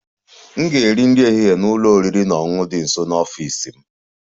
M ga-eri nri ehihie n'ụlọ oriri na ọṅụṅụ dị nso n'ọfịs m